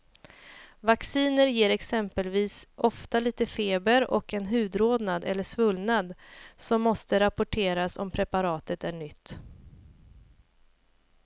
Vacciner ger exempelvis ofta lite feber och en hudrodnad eller svullnad som måste rapporteras om preparatet är nytt.